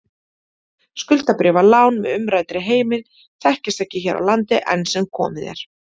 Skuldabréfalán með umræddri heimild þekkjast ekki hér á landi enn sem komið er.